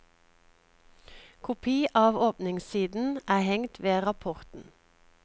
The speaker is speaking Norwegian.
Kopi av åpningssiden er hengt ved rapporten.